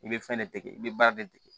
I bɛ fɛn ne dege i bɛ baara de kɛ